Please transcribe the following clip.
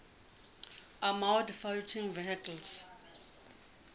armoured fighting vehicles